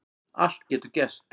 Allt getur gerst